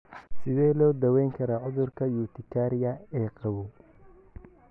Sidee loo daweyn karaa cudurka urtikaria ee qabow?